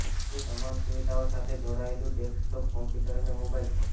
તે તમામ સુવિધાઓ સાથે જોડાયેલું ડેસ્કટોપ કોમ્પ્યુટર અને મોબાઇલ ફોન